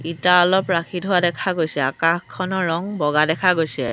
ইটা অলপ ৰাখি থোৱা দেখা গৈছে আকাশখনৰ ৰং বগা দেখা গৈছে।